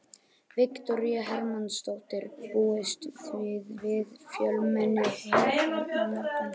Viktoría Hermannsdóttir: Búist þið við fjölmenni hérna á morgun?